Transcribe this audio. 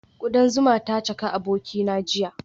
Kudan zuma ta caka abokina jiya